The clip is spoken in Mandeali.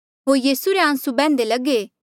होर यीसू रे आंसू बैह्न्दे लगे